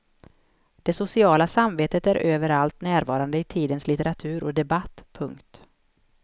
Det sociala samvetet är överallt närvarande i tidens litteratur och debatt. punkt